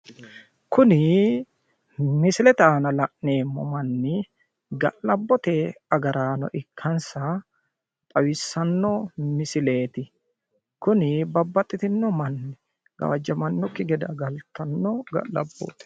Kuni misilete aana la'neemmo manni ga'labbote agraano ikkansa xawissanno misileeti. kuni babbaxxitinno manni gawajamanokki gede agartanno ga'labbooti.